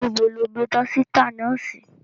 Nibo lo gbe dọsita náà si?